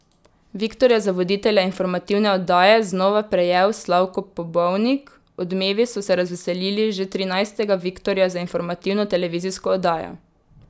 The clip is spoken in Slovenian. Viktorja za voditelja informativne oddaje je znova prejel Slavko Bobovnik, Odmevi so se razveselili že trinajstega viktorja za informativno televizijsko oddajo.